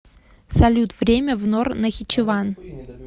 салют время в нор нахичеван